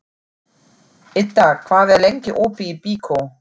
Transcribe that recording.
Idda, hvað er lengi opið í Byko?